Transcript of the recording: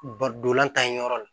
Ba dolan ta ye yɔrɔ la